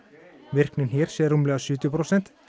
virknin hér sé rúmlega sjötíu prósent